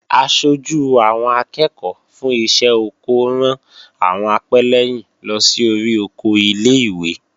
Aṣojú àwọn akẹ́ẹ̀kọ́ fún iṣẹ́ oko ran àwọn apẹ́lẹ́yìn lọ sí orí oko ilé-ìwé